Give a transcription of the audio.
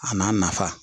A n'a nafa